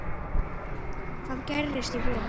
Hvað gerist í vor?